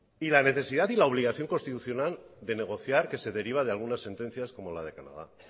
y la necesidad y la obligación constitucional de negociar que se deriva de algunas sentencias como la de canadá